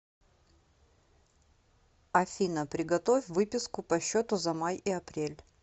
афина приготовь выписку по счету за май и апрель